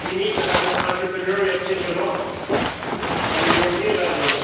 We need to have an entrepreneurial single market at European level